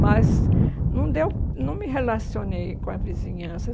Mas não deu não me relacionei com a vizinhança.